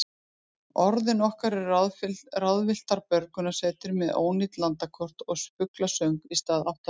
Orðin okkar eru ráðvilltar björgunarsveitir með ónýt landakort og fuglasöng í stað áttavita.